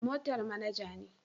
Motar manager ne